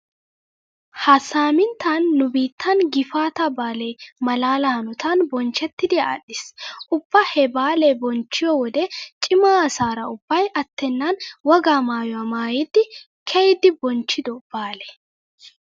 Ha saaminttan nu biittan gifaataa baalee malaala hanotan bonchchettidi adhdhiis. Ubba he baalaa bonchchiyo wode cima asaara ubbay attennan wogaa maayuwa maayidi kaa'iiddi bonchchido baale.